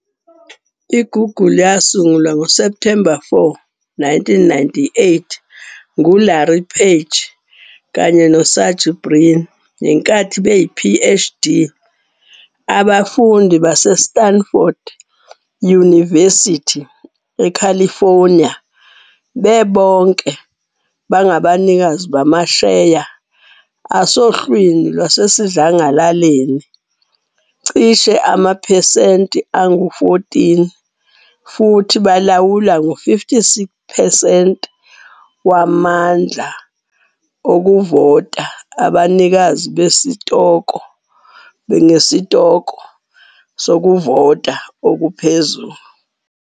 I-Google yasungulwa ngo-September 4, 1998, ngu-Larry Page kanye no-Sergey Brin ngenkathi beyi-Ph.D. abafundi baseStanford University eCalifornia. Bebonke bangabanikazi bamasheya aso asohlwini lwasesidlangalaleni cishe amaphesenti angu-14 futhi balawula u-56 percent wamandla okuvota abanikazi besitoko ngesitoko sokuvota okuphezulu.